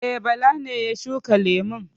E, Bala ne ya shuka lemun.